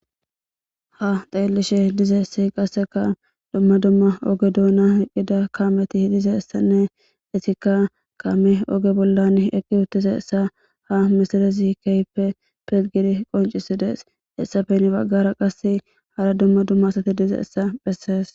Ha xelishshe dizayissi qasekka dumma dumma kameti bizayissanne qassekka kamey oge boola eqidayissa ha missileza kehippe qoncciside qonccisses gusukko hessafe qse heni bagara dumma dumma asati